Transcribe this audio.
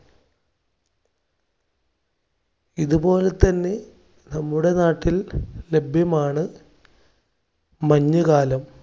ഇതുപോലെ തന്നെ നമ്മുടെ നാട്ടിൽ ലഭ്യമാണ് മഞ്ഞുകാലം.